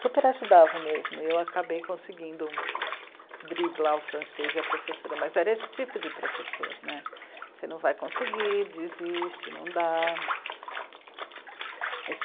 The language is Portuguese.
super ajudavam mesmo, e eu acabei conseguindo driblar o francês e a professora, mas era esse tipo de professor né, você não vai conseguir, desiste, não dá.